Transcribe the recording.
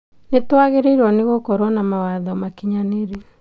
Nĩtwagĩrĩirwo gũkorwo na mawatho makinyanĩru